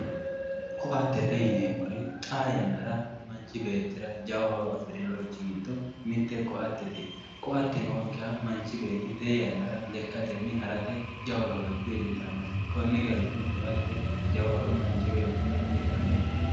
ko'attete yineemmori xaa yannara manchi beettira jawa horo afirinorichi giddo mitte ko'attete; koa'atte nookkiha manchi beetti tee yannara lekkatenni harate jawa gawajjo iillitanno konni garinni ko'ate jawa horo manchi beettira uytanno